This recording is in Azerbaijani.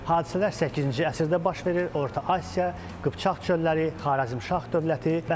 Hadisələr 8-ci əsrdə baş verir, Orta Asiya, Qıpçaq çölləri, Xarəzmşah dövləti.